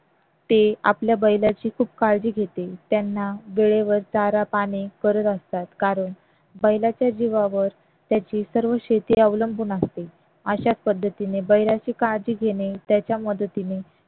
ते आपल्या बैलाची खूप काळजी घेते त्याना वेळेवर चार पाणी करत असतात कारण बैलाच्या जीवावर त्याची सर्व शेती अवलंबून असते अशाच पद्धतीने बैलाची काळजी घेणे त्याच्या मदतीने